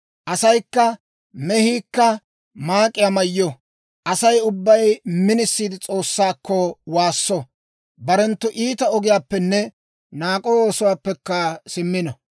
Asaykka mehiikka maak'iyaa mayyo; Asay ubbay minisiidde S'oossaakko waasso; barenttu iita ogiyaappenne naak'o oosuwaappekka simmino.